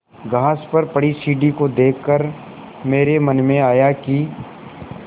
घास पर पड़ी सीढ़ी को देख कर मेरे मन में आया कि